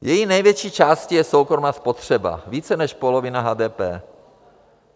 Její největší částí je soukromá spotřeba, více než polovina HDP.